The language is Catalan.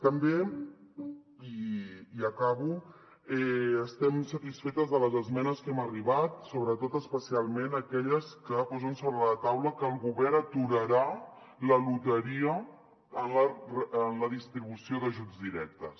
també i acabo estem satisfetes de les esmenes a què hem arribat sobretot especialment aquelles que posen sobre la taula que el govern aturarà la loteria en la distribució d’ajuts directes